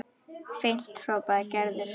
Fínt hrópaði Gerður.